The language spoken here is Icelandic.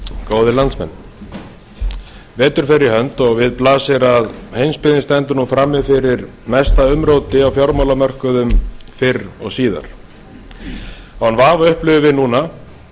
góðir landsmenn vetur fer í hönd og við blasir að heimsbyggðin stendur nú frammi fyrir mesta umróti á fjármálamörkuðum fyrr og síðar án vafa upplifum við núna